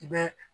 I bɛ